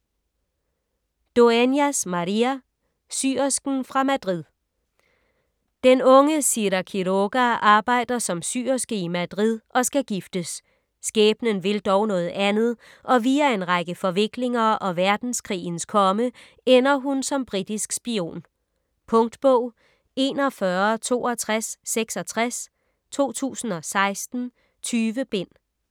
Dueñas, María: Syersken fra Madrid Den unge Sira Quiroga arbejder som syerske i Madrid og skal giftes. Skæbnen vil dog noget andet, og via en række forviklinger og verdenskrigens komme ender hun som britisk spion. Punktbog 416266 2016. 20 bind.